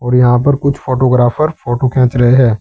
और यहां पर कुछ फोटोग्राफर फोटो खींच रहे हैं।